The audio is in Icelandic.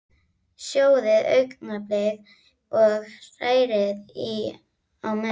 Sjóðið augnablik og hrærið í á meðan.